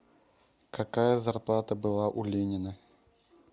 какая зарплата была у ленина